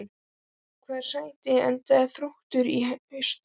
Í hvaða sæti endar Þróttur í haust?